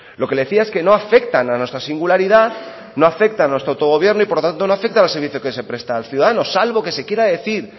lo que le decía es que no afectan a nuestra singularidad no afecta a nuestro autogobierno y por tanto no afecta al servicio que se presta al ciudadano salvo que se quiera decir